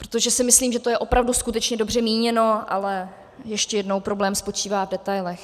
Protože si myslím, že to je opravdu skutečně dobře míněno, ale ještě jednou, problém spočívá v detailech.